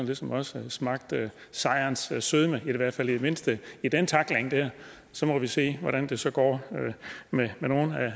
ligesom også smagt sejrens sødme i hvert fald i det mindste i den tackling der så må vi se hvordan det så går med nogle